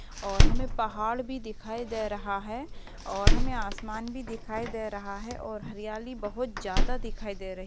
और हमें पहाड़ भी दिखाई दे रहा है और हमें आसमान भी दिखाई दे रहा है और हरियाली बोहोत ज्यादा दिखाई दे रही है।